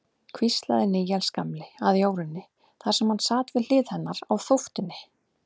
hvíslaði Níels gamli að Jórunni, þar sem hann sat við hlið hennar á þóftunni.